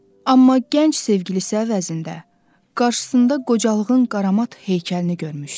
Amma gənc sevgilisə əvəzində, qarşısında qocalığın qaramat heykəlini görmüşdü.